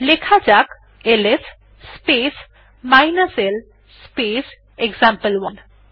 লেখা যাক ls space l space example one